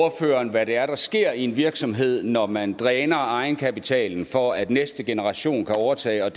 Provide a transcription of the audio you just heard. hvad det er der sker i en virksomhed når man dræner egenkapitalen for at næste generation kan overtage og